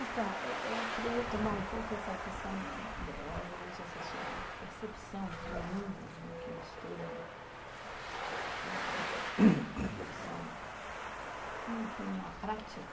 Então, eu eu queria retomar um pouco essa questão, obviamente, essa sua percepção do mundo, né, que mistura reflexão com a prática.